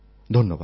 ধন্যবাদ